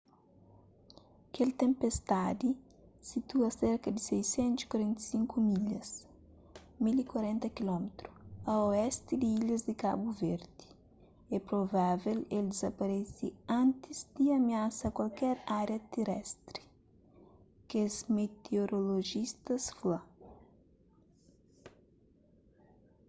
kel tenpestadi situa serka di 645 milhas 1040 km a oesti di ilhas di kabu verdi é provável el dizaparese antis di amiasa kualker ária terestri kes meteorolojista fla